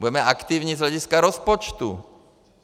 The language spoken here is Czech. Budeme aktivní z hlediska rozpočtu.